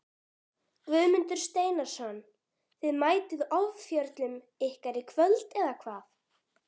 Guðmundur Steinarsson Þið mættuð ofjörlum ykkar í kvöld eða hvað?